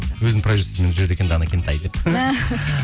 өзінің продюсерімен жүреді екен дана кентай деп